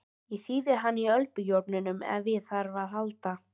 Ég þíði hana í örbylgjuofninum ef á þarf að halda.